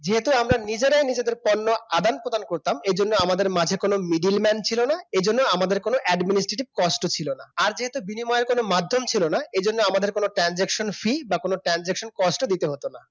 যেহেতু আমরা নিজেরাই নিজেদের পণ্য আদান-প্রদান করতাম এজন্য আমাদের মাঝে কোন middleman ছিল না এজন্য আমাদের কোন administrative cost ও ছিল না আর যেহেতু বিনিময়ের কোন মাধ্যম ছিল না এজন্য আমাদের কোন transaction free বা কোন transaction cost ও দিতে হতো না